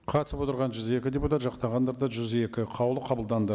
қатысып отырған жүз екі депутат жақтағандар да жүз екі қаулы қабылданды